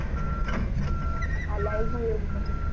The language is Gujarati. હા લાગ્યું એવું મને